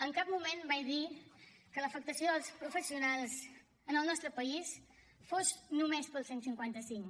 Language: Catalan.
en cap moment vaig dir que l’afectació dels professionals en el nostre país fos només pel cent i cinquanta cinc